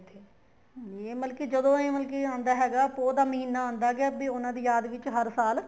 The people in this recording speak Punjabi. ਮਤਲਬ ਕੀ ਜਦੋਂ ਇਹ ਮਤਲਬ ਕੀ ਆਂਦਾ ਹੈਗਾ ਪੋਹ ਦਾ ਮਹੀਨਾ ਆਂਦਾ ਗਿਆ ਵੀ ਉਹਨਾ ਦੀ ਯਾਦ ਵਿੱਚ ਹਰ ਸਾਲ